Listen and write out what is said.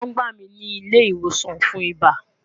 Won gba mi ni ile iwosan fun iba